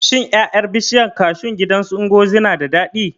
Shin ƴaƴan bishiyar kashu ɗin gidan su Ngozi na da daɗi?